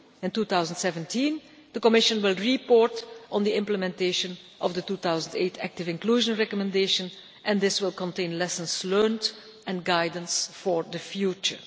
In 2017, the Commission will report on the implementation of the 2008 active inclusion recommendation, and this will contain lessons learned and guidance for the future.